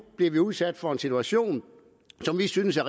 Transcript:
bliver udsat for en situation som de synes er